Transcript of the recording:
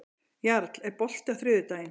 Jarl, er bolti á þriðjudaginn?